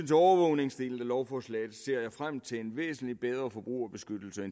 til overvågningsdelen i lovforslaget ser jeg frem til en væsentlig bedre forbrugerbeskyttelse